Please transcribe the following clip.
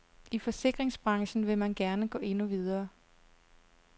I forsikringsbranchen vil man gerne gå endnu videre.